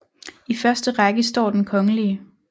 I første række står Den kgl